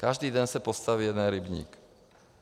Každý den se postaví jeden rybník.